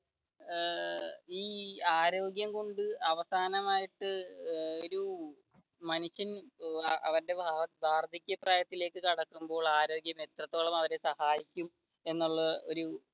ഏർ ഈ ആരോഗ്യം കൊണ്ട് അവസാനമായിട്ട് ഒരു മനുഷ്യൻ അവരുടെ വാർദ്ധക്യ പ്രായത്തിലേക്ക് കടക്കുമ്പോൾ ആരോഗ്യം എത്രത്തോളം അവരെ സഹായിക്കും എന്നുള്ള ഒരു